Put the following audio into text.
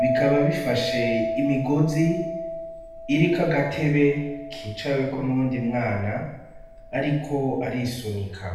bikaba bifashe imigozi iriko agatebe kicaweko n'uwundi mwana ariko arisunika.